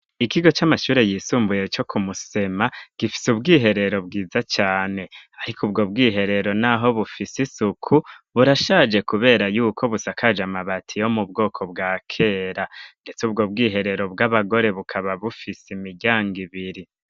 Ikigo c'amashure yisumbuye co kumusema gifise ubwiherero bwiza cane, ariko ubwo bwiherero, naho bufise isuku burashaje, kubera yuko busakaje amabati yo mu bwoko bwa kera, ndetse ubwo bwiherero bw'abagore bukaba bufise imiryanga ibiri.